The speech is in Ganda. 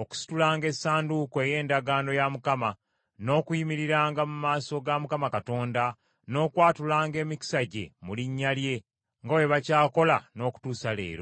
okusitulanga Essanduuko ey’Endagaano ya Mukama , n’okuyimiriranga mu maaso ga Mukama Katonda, n’okwatulanga emikisa gye mu linnya lye, nga bwe bakyakola n’okutuusa leero.